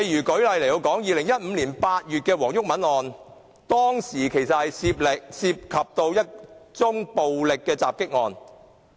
舉例來說 ，2015 年8月的黃毓民案件，是一宗暴力襲擊案。